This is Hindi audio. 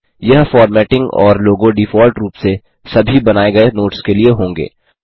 यह फ़ॉर्मेटिंग और लोगो डिफ़ॉल्ट रूप से सभी बनाये गये नोट्स के लिए होंगे